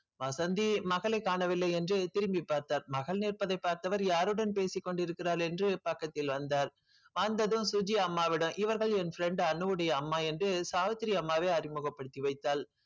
வசந்தி மகளைக் காணவில்லை என்று திரும்பிப் பார்த்தார் மகள் நிற்பதைப் பார்த்தவர் யாருடன் பேசிக் கொண்டிருக்கிறாள் என்று பக்கத்தில் வந்தார் வந்ததும் சுஜி அம்மாவிடம் இவர்கள் என் friend அனுவுடைய அம்மா என்று சாவித்திரி அம்மாவே அறிமுகப்படுத்தி வைத்தாள்